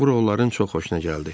Bura onların çox xoşuna gəldi.